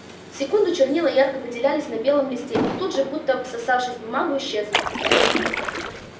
секунду чернила ярко выделялись на белом листе и тут же будто всосавшись в бумагу исчезли